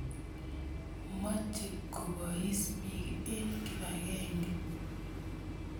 Moche kopois piik eng' kipakenge.